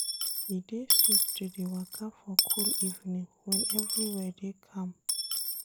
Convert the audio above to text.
E dey sweet to dey waka for cool evening wen everywhere dey calm.